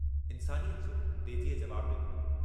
हा मुंहिंजे करे।